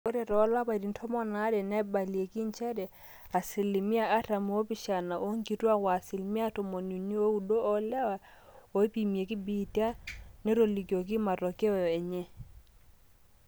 ore toolapaitin tomon aare neibalieki njere asilimia artam oopishana oonkituaak o asilimia tomoniuni ooudo oolewa ooipimaki biitia netolikioki matokeyo enye